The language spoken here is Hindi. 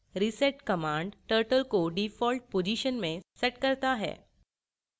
reset command turtle को default position में sets करता है